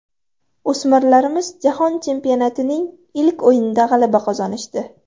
O‘smirlarimiz jahon chempionatining ilk o‘yinida g‘alaba qozonishdi.